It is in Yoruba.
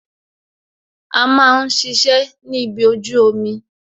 A máa ń ṣiṣẹ́ ni ibi ojú omi